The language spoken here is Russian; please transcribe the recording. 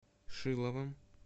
шиловым